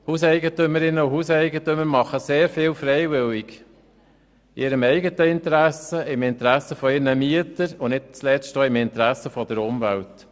Hauseigentümerinnen und Hauseigentümer machen sehr viel freiwillig, in ihrem eigenen Interesse, im Interesse ihrer Mieter und nicht zuletzt auch im Interesse der Umwelt.